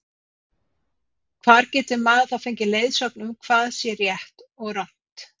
Hvar getur maðurinn þá fengið leiðsögn um hvað sé rétt og rangt?